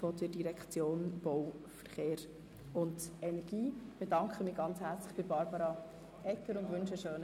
2018 Steueranlage von 3,04 (provisorisch, sodass in jedem Fall die Schuldenbremse eingehalten wird)